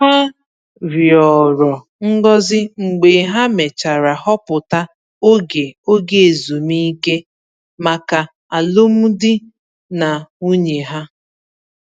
Ha rịọrọ ngozi mgbe ha mechara họpụta oge oge ezumike maka alụmdi na nwunye ha.